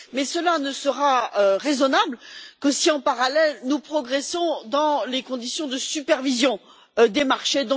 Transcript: Mais cela ne sera raisonnable que si, en parallèle, nous progressons dans les conditions de supervision des marchés.